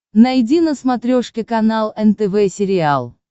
найди на смотрешке канал нтв сериал